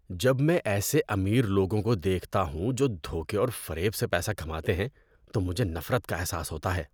‏جب میں ایسے امیر لوگوں کو دیکھتا ہوں جو دھوکے اور فریب سے پیسہ کماتے ہیں تو مجھے نفرت کا احساس ہوتا ہے۔